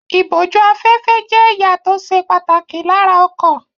Ìbójú-afẹ́fẹ́ jẹ́ ẹ̀ya tó ṣe pàtàkì lára ọkọ̀.